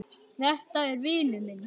Þetta var vinur minn.